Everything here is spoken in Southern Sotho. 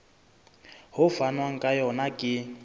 ho fanwang ka yona ke